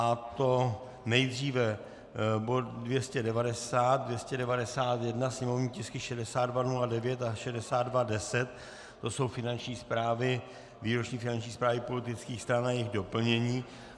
A to nejdříve bod 290, 291 sněmovní tisky 6209 a 6210, to jsou výroční finanční zprávy politických stran a jejich doplnění.